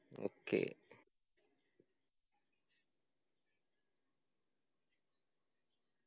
okay